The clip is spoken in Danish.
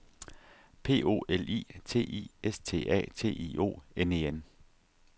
P O L I T I S T A T I O N E N